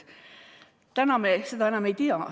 Täna me seda enam ei tea.